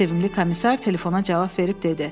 Sevimli komissar telefona cavab verib dedi.